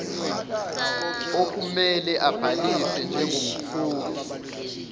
okumele abhalise njengomkhokhi